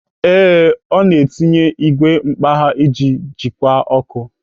Ee, ọ na-etinye igwe mkpagha iji jikwa ọkụ.